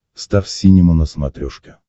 стар синема на смотрешке